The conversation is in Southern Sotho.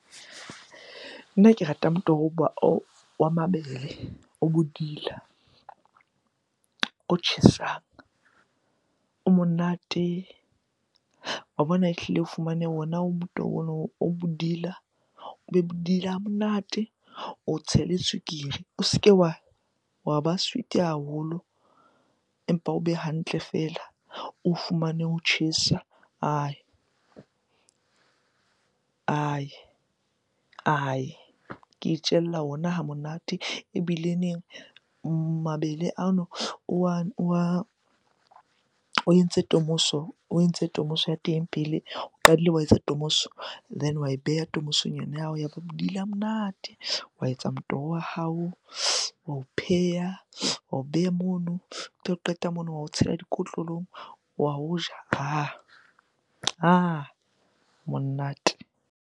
Nna ke rata motoho wa mabele, o bodila, o tjhesang, o monate. Wa bona ehlile o fumane ona motoho ono o bodila, o be bodila ha monate, o tshele tswekere. O se ke wa ba sweet-e haholo empa o be hantle feela. O fumane o tjhesa ke itjella ona ha monate ebileneng mabele ano o wa, o entse tomoso ya teng pele, o qadile wa etsa tomoso. Then wa e beha tomoso ya hao ya ba bodile a monate. Wa etsa motoho wa hao, wa o pheha, wa o beha mono. Qeta mono wa o tshela dikotlolong wa o ja monate.